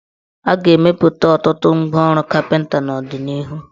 A ga-emepụta ọtụtụ ngwaọrụ kapịnta n' ọdịnihu.